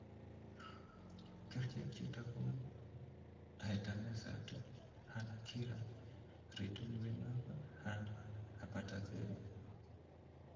Kerchek chutok kou etanercept, anakihra, rituximab and abatacepy